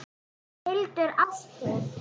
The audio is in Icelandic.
Hildur Ástþór.